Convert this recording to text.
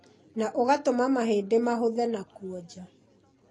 na ũgatũma mahĩndĩ mahũthe na kuoja.